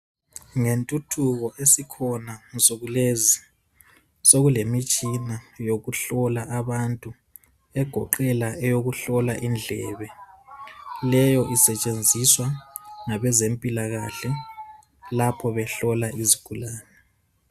Ngentuthuko esikhona nsukulezi sokulemitshina yokuhlola abantu egoqela eyokuhlola indlebe leyo isetshenziswa ngabezimpila kahle lapho behlola izigulane.